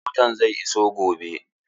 Motana zai iso gobe.